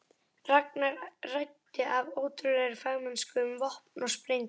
Ragnar ræddi af ótrúlegri fagmennsku um vopn og sprengjur.